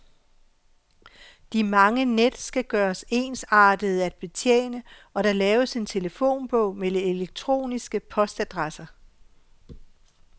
De mange net skal gøres ensartede at betjene, og der laves en telefonbog med elektroniske postadresser.